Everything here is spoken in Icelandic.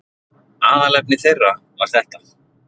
Aðalefni þeirra var þetta